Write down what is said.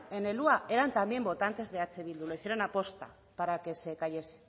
en el hua era también votantes de eh bildu lo hicieron aposta para que se cayese